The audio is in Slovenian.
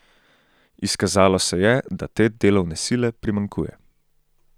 Izkazalo se je, da te delovne sile primanjkuje.